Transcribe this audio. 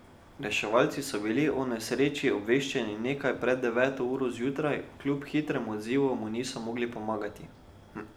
Reševalci so bili o nesreči obveščeni nekaj pred deveto uro zjutraj, kljub hitremu odzivu mu niso mogli pomagati.